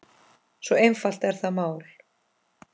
Svo einfalt er það mál.